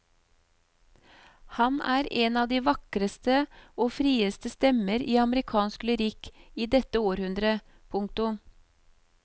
Han er en av de vakreste og frieste stemmer i amerikansk lyrikk i dette århundre. punktum